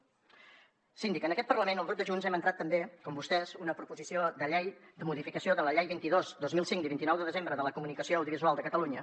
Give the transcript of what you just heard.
síndica en aquest parlament el grup de junts hem entrat també com vostès una proposició de llei de modificació de la llei vint dos dos mil cinc de vint nou de desembre de la comunicació audiovisual de catalunya